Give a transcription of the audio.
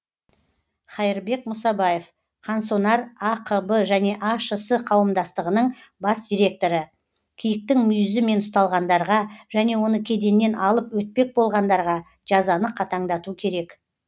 хаирбек мұсабаев қансонар ақб және ашс қауымдастығының бас директоры киіктің мүйізімен ұсталғандарға және оны кеденнен алып өтпек болғандарға жазаны қатаңдату керек